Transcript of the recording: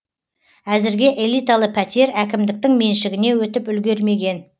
әзірге элиталы пәтер әкімдіктің меншігіне өтіп үлгермеген